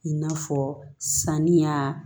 I n'a fɔ sanniya